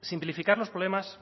simplificar los problemas